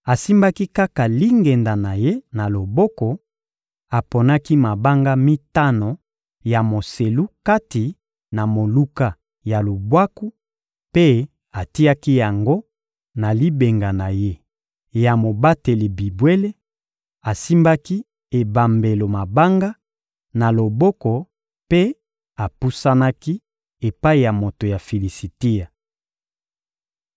Asimbaki kaka lingenda na ye na loboko, aponaki mabanga mitano ya moselu kati na moluka ya lubwaku mpe atiaki yango na libenga na ye ya mobateli bibwele; asimbaki ebambelo mabanga na loboko mpe apusanaki epai ya moto ya Filisitia.